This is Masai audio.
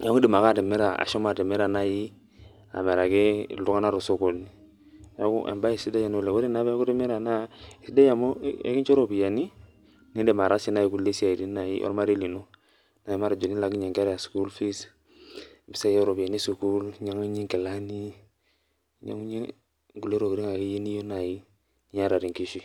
neaku indim atimira ashomo atimira amiraki ltunganak tosokoni, embae sidai oleng, ore peaku itimira na kesidia amu elincho ripiyani nindim ataasie esiia ormarei lino ana tenilaakinye nkera school fees mpisai oropiyani esukul, ninyangunyie nkilani ninyangunyie nkulie tokitin nai niyieu niata tenkishui.